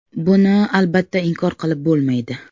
Buni, albatta, inkor qilib bo‘lmaydi.